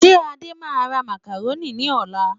Ṣé Adé máa ra macaroni ní ọ̀la?